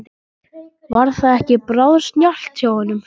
Var það ekki bráðsnjallt hjá honum?